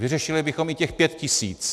Vyřešili bychom i těch 5 tisíc.